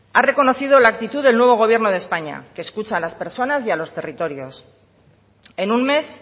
ha hecho ha reconocido la actitud del nuevo gobierno de españa que escucha a las personas y a los territorios en un mes